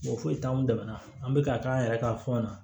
Mɔgɔ foyi t'anw dɛmɛ an bɛ ka k'an yɛrɛ ka fɔ an na